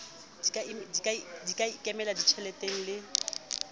di ka ikemela ditjheleteng le